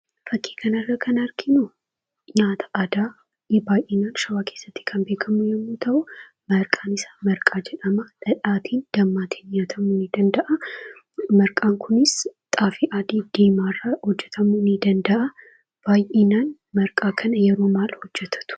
Fakkii kanarra kan arginu nyaata aadaa baay'inaan shawaa keessatti kan beekamu yommuu ta'u, maqaan isaa marqaa jedhama. Dhadhaatiin, dammaatiin nyaatamuu ni danda'a. Marqaan kunis xaafii adii fi diimaa irraa hojjatamuu ni danda'a. Baay'inaan marqaa kana yeroo maal hojjatatu?